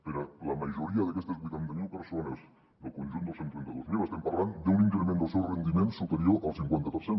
per a la majoria d’aquestes vuitanta mil persones del conjunt dels cent i trenta dos mil estem parlant d’un increment del seu rendiment superior al cinquanta per cent